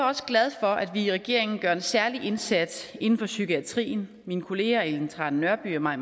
også glad for at vi i regeringen gør en særlig indsats inden for psykiatrien mine kollegaer ellen trane nørby og mai